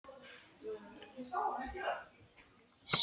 Segi: Liggðu áfram, meðan ég hita kaffið.